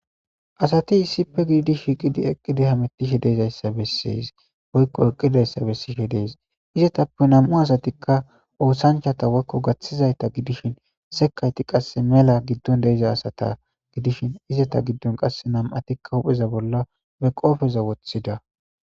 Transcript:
Asati issippe giidi shiqidi eqqidi hamettishe deezayssa bessees woykko eqqidayssa bessishe dees izetappe nam7u asatikka oosanchata woykko gaththizayta gidishin sekayti qasse mela giddon deiza asata gidishin izeta giddon qasse nam7atikka upheza bolla be qoofeza woththida.